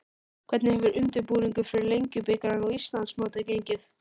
Hvernig hefur undirbúningur fyrir Lengjubikarinn og Íslandsmótið gengið?